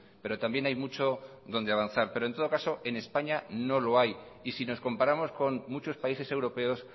pero también hay mucho donde avanzar pero en todo caso en españa no lo hay y si nos comparamos con muchos países europeos